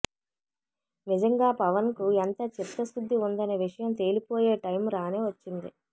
నిజంగా పవన్ కు ఎంత చిత్తశుద్ధి ఉందనే విషయం తేలిపోయే టైం రానే వచ్చింది